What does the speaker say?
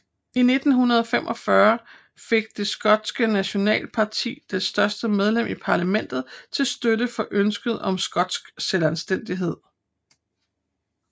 I 1945 fik Det skotske nationalitetsparti det første medlem i parlamentet til støtte for ønsket om skotsk selvstændighed